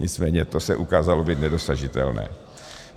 Nicméně to se ukázalo být nedosažitelné.